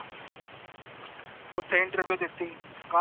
ਓਥੇ interview ਦਿਤੀ